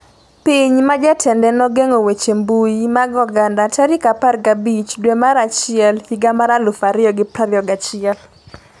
Piny ma jatende nogeng'o weche mbui mag oganda 15 dwe mar achiel higa mar 2021